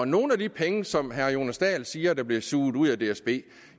nogle af de penge som herre jonas dahl siger blev suget ud af dsb